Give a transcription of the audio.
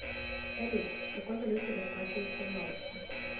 салют какой валютой расплачиваются в лаосе